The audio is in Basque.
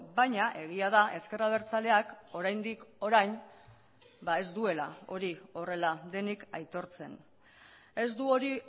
baina egia da ezker abertzaleak oraindik orain ez duela hori horrela denik aitortzen ez du hori